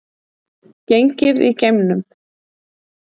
Gengið í geimnum